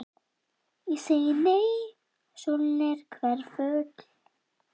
Ég segi nei, sólin er hverful.